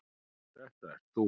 Þetta ert þú.